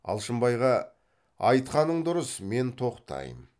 алшынбайға айтқаның дұрыс мен тоқтаймын